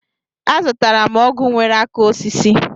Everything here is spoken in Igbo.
Azụtara m ọgụ nwere aka osisi.